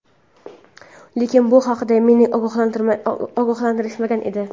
Lekin, bu haqda meni ogohlantirishmagan edi..